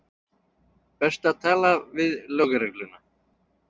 Best að tala við lögregluna.